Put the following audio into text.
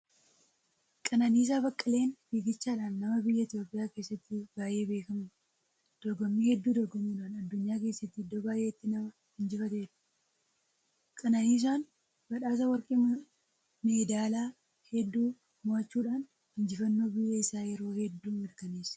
Qananiisaa Baqqaleen fiiggichaadhaan nama biyya Itoophiyaa keessatti baay'ee beekamudha. Dorgommii hedduu dorgomuudhaan addunyaa keessatti iddoo baay'eetti nama injifatedha. Qananiisaan badhaasa warqii meedaalaa hedduu moo'achuudhaan, injifannoo biyya isaa yeroo hedduu mirkaneesseera!